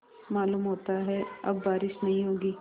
मालूम होता है अब बारिश नहीं होगी